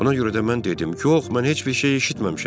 Buna görə də mən dedim: Yox, mən heç bir şey eşitməmişəm.